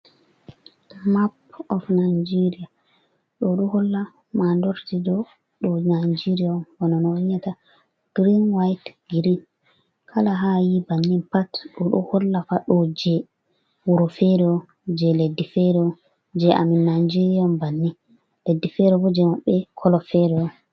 Ɗo map of Najeria. Ɗo ɗo holla madorde ɗo je Najeriya bano no on yi'ata girin white girin kala ha'ayi bannin pat ɗoɗo holla fa ɗo je wuro fere je leddi fere je amin Najeriya on bannin leddi fere bo je maɓɓe kolo fere on.